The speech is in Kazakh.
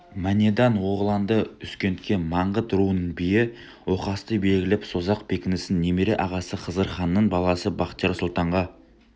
манедан-оғланды үзкентке маңғыт руының биі оқасты белгілеп созақ бекінісін немере ағасы хызырханның баласы бахтияр сұлтанға